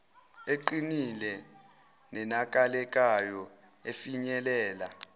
eqinile nenakekelayo efinyelela